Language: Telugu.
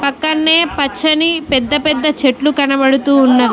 పక్కన్నే పచ్చని పెద్ద పెద్ద చెట్లు కనపడుతూ వున్నవి.